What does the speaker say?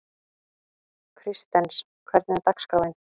Kristens, hvernig er dagskráin?